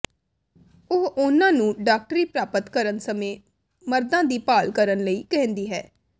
ਉਹ ਉਨ੍ਹਾਂ ਨੂੰ ਡਾਕਟਰੀ ਪ੍ਰਾਪਤ ਕਰਨ ਸਮੇਂ ਮਰਦਾਂ ਦੀ ਭਾਲ ਕਰਨ ਲਈ ਕਹਿੰਦੀ ਹੈ